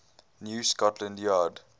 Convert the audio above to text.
new scotland yard